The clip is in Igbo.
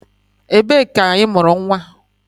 Ebee ka imuru nwa?